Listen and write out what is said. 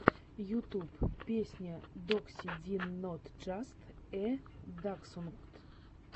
ютюб песня докси дин нот джаст э даксхунд